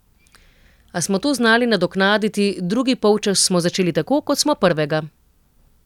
A smo to znali nadoknaditi, drugi polčas smo začeli tako, kot smo prvega.